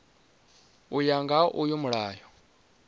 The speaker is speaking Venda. u ya nga uyu mulayo